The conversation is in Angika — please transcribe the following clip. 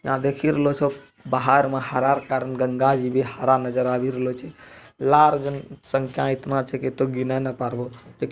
यहाँ देखिये रहलो सब बाहर में हरा कारन गंगा जी भी हरा नजर आ भी रहलो छे | लाल संख्या इतना छे की गिनो न परबो |